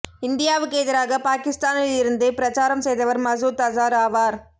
இந்தியாவுக்கு எதிராக பாகிஸ்தானில் இருந்து பிரச்சாரம் செய்தவர் மசூத் அசார் ஆவார்